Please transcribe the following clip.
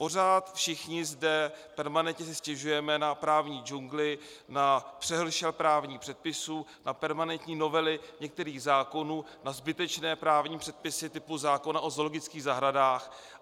Pořád všichni zde permanentně si stěžujeme na právní džungli, na přehršel právních předpisů, na permanentní novely některých zákonů, na zbytečné právní předpisy typu zákona o zoologických zahradách.